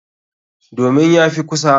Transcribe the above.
Domin ya fi kusa.